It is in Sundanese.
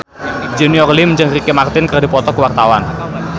Junior Liem jeung Ricky Martin keur dipoto ku wartawan